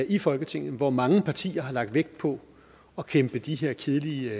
i folketinget hvor mange partier har lagt vægt på at kæmpe de her kedelige